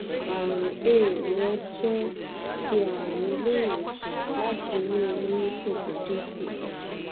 àrùn ay rẹ jẹ ti àrùn ilé ìwòsàn láti inú immunity tó dínkù